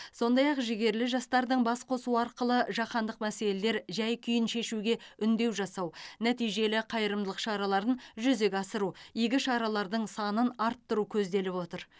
сондай ақ жігерлі жастардың бас қосуы арқылы жаһандық мәселелер жай күйін шешуге үндеу жасау нәтижелі қайырымдылық шараларын жүзеге асыру игі шаралардың санын арттыру көзделіп отыр